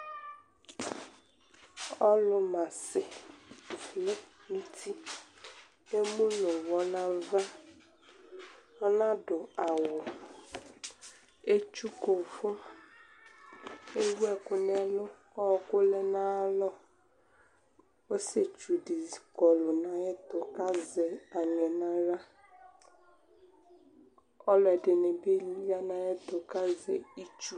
Ɔlʊ mas zati nʊ uti kʊ emu nʊ uwɔ nava, ɔnadʊ awu, atsuku uvʊ, ewuɛkʊ nɛlʊ kʊ ɔkʊ lɛ nayalɔ, ɔsietsudɩ kɔlʊ nayɛtʊ kazɛ aŋɛ naɣla, aluɛdɩnɩbɩ ya nayɛtʊ kʊ azɛ itsu